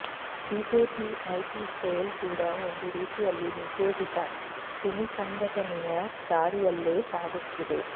BJP IT cell ಕೂಡ ಒಂದು ರೀತಿಯಲ್ಲಿ ನಿಷೇಧಿತ ಸಿಮಿ ಸಂಘಟನೆಯ ದಾರಿಯಲ್ಲೇ ಸಾಗುತ್ತಿದೆ